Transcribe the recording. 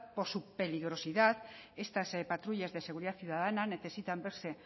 por su peligrosidad estas patrullas de seguridad ciudadana necesitan verse